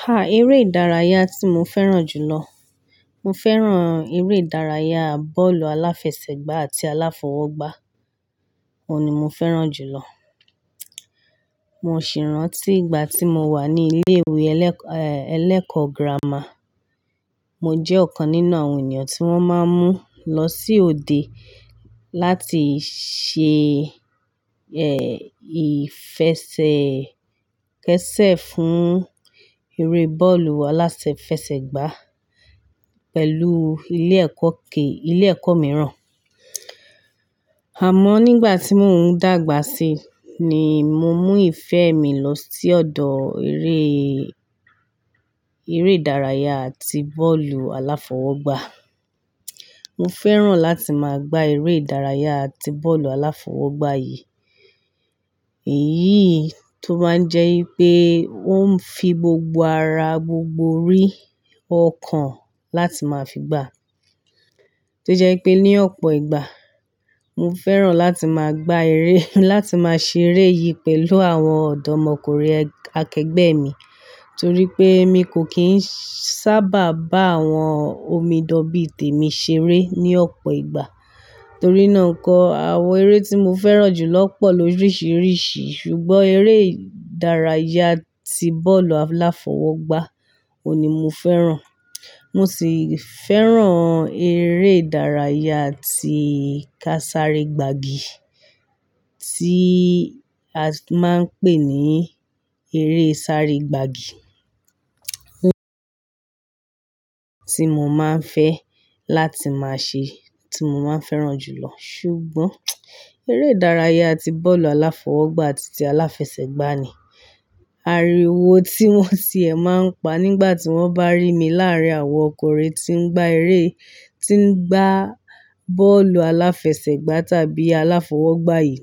Ha! Eré ìdárayá tí mo fẹ́ràn jù lọ. Mo fẹ́ràn eré ìdárayá, bọ́ọ̀lù aláfẹsẹ̀gbá àti aláfọwọ́gbá. Ó ni mo fẹ́ràn jù lọ. Mo sì rántí ìgbà tí mo wà ní ilé ìwé ẹlẹ́kọ, eh, ẹlẹ́kọ́ gírámà. Mo jẹ́ ọ̀kan nínú àwọn ènìyàn tí wọ́n máa ń mú lọ sí òde láti ṣe, eh, ìfẹsẹ̀kẹsẹ̀ fún eré bọ́ọ̀lù alásẹ fẹsẹ̀ gbá pẹ̀lú ilé ẹ̀kọ́ ké, ilé ẹ̀kọ́ mìíràn. Àmọ́ nígbà tí mò ń dàgbà sí ni mo mú ìfẹ́ mi lọ sí ọ̀dọ̀ eré, eré ìdárayá ti bọ́ọ̀lù aláfọwọ́gbá. Mo fẹ́ràn láti máa gbá eré ìdárayá àti bọ́ọ̀lù aláfọwọ́gbá yìí. Èyí tó máa ń jẹ́ pé ó ń fi gbogbo ara, gbogbo rí ọkàn láti máa fi gbá. To jẹ́ pé ní ọ̀pọ̀ ìgbà mo fẹ́ràn láti máa gbá eré, láti máa ṣeré yìí pẹ̀lú àwọn ọ̀dọ́mọkùnrin akẹgbẹ́ mi torí pé mi kò kì í sábà bá àwọn omidan bí tèmi ṣeré ní ọ̀pọ̀ ìgbà. Torí náà kọ́ àwọn eré tí mo fẹ́ràn jù lọ pọ̀ lórísìírísìí ṣùgbọ́n eré ìdárayá ti bọ́ọ̀lù aláfọwọ́gbá òní mo fẹ́ràn. Mo sì fẹ́ràn eré ìdárayá ti ká sáré gbagi tí a máa ń pè ní eré sáré gbagi tí mo máa ń fẹ́ láti máa ṣe tí mo máa ń fẹ́ràn jù lọ. Ṣùgbọ́n eré ìdárayá ti bọ́ọ̀lù aláfọwọ́gbá àti ti aláfẹsẹ̀gbá ni àríwó tí wọ́n tì ẹ máa ń pa nígbà tí wọ́n bá rí mi láàárín àwọn ọkùnrin tí ń gbá eré, tí ń gbá bọ́ọ̀lù aláfẹsẹ̀gbá tàbí aláfọwọ́gbá yìí.